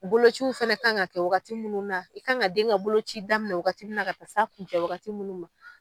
Bolociw fɛnɛ ka kan ka kɛ wagati munnu na, i kan ka den ka bolo ci daminɛ o wagati min na, ka taa se a kunɲɛ wagati ma